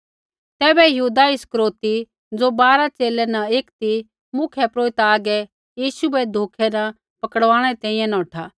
तैबै यहूदा इस्करियोती ज़ो बारा च़ेले न एक ती मुख्यपुरोहिता हागै यीशु बै धोखै न पकड़वाणै री तैंईंयैं नौठा